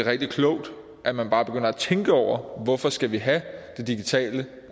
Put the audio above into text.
rigtig klogt at man bare begynder at tænke over hvorfor vi skal have det digitale